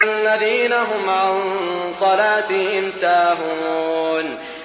الَّذِينَ هُمْ عَن صَلَاتِهِمْ سَاهُونَ